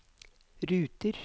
ruter